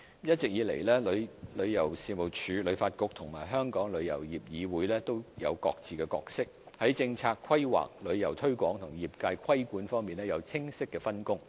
一直以來，旅遊事務署、旅發局和香港旅遊業議會都有各自的角色，在政策規劃、旅遊推廣及業界規管方面有清晰的分工。